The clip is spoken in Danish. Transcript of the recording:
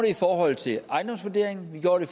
i forhold til ejendomsvurderingen vi gjorde det